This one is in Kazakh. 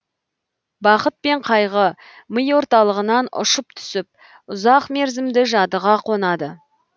бақыт пен қайғы ми орталығынан ұшып түсіп ұзақ мерзімді жадыға қонады